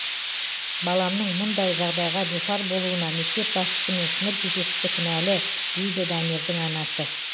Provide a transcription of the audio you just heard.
баламның мұндай жағдайға душар болуына мектеп басшысы мен сынып жетекшісі кінәлі дейді дамирдің анасы